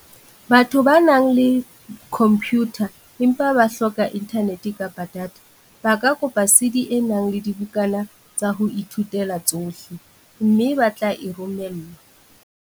Batho ba nang le khompiyutha empa ba hloka inthanete kapa data, ba ka kopa CD e nang le dibukana tsa ho ithuta tsohle, mme ba tle e romellwa.